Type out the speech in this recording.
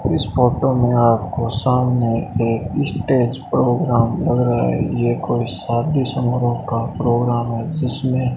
इस फोटो में आपको सामने एक स्टेज प्रोग्राम लग रहा है ये कोई शादी समारोह का प्रोग्राम है जिसमें --